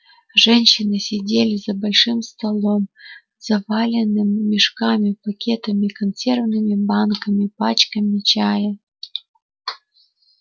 женщины сидели за большим столом заваленным мешками пакетами консервными банками пачками чая